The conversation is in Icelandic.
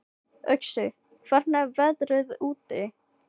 Uxi, hvernig er veðrið úti?